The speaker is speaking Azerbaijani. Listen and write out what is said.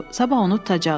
Sabah onu tutacağıq.